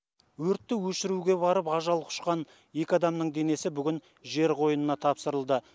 өртті өшіруге барып ажал құшқан екі адамның денесі бүгін жер қойнына тапсырылды